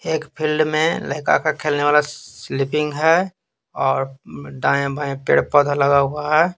एक फील्ड में लेका का खेलने वाला स्लीपिंग है और दाएं बाएं पेड़ पौधा लगा हुआ है।